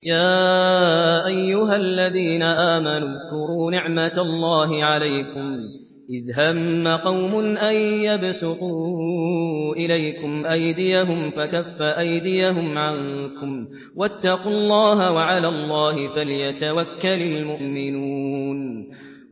يَا أَيُّهَا الَّذِينَ آمَنُوا اذْكُرُوا نِعْمَتَ اللَّهِ عَلَيْكُمْ إِذْ هَمَّ قَوْمٌ أَن يَبْسُطُوا إِلَيْكُمْ أَيْدِيَهُمْ فَكَفَّ أَيْدِيَهُمْ عَنكُمْ ۖ وَاتَّقُوا اللَّهَ ۚ وَعَلَى اللَّهِ فَلْيَتَوَكَّلِ الْمُؤْمِنُونَ